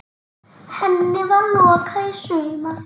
Henni var lokað í sumar.